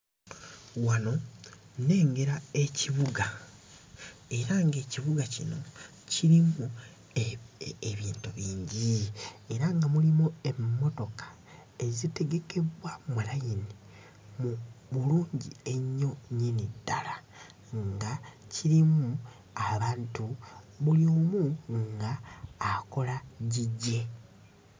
Wano nnengera ekibuga era ng'ekibuga kino kirimu ebintu bingi, era nga mulimu emmotoka ezitegekebbwa mu layini mu bulungi ennyo nnyini ddala nga kirimu abantu, buli omu ng'akola gigye.